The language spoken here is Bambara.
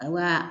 A wa